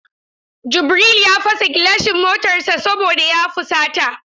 Jubril ya fasa gilasan matar sa saboda ya fusata.